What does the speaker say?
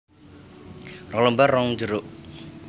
Rong lembar ron jeruk